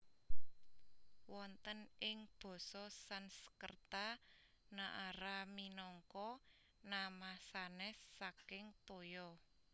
Wonten ing basa Sanskerta Naara minangka nama sanès saking toya